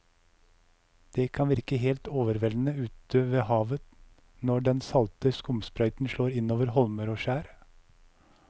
Det kan virke helt overveldende ute ved havet når den salte skumsprøyten slår innover holmer og skjær.